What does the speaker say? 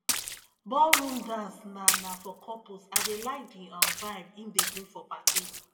ballroom dance na na for couples i dey like di um vibe im dey bring for party